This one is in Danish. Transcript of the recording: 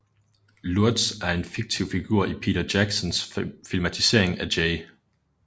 Lurtz er en fiktiv figur i Peter Jacksons filmatisering af J